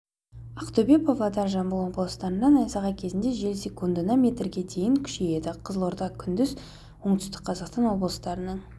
ақтөбе павлодар жамбыл облыстарында найзағай кезінде жел секундына метрге дейін күшейеді қызылорда күндіз оңтүстік қазақстан облыстарының